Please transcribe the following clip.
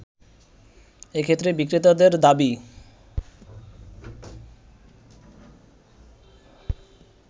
এক্ষেত্রে বিক্রেতাদের দাবি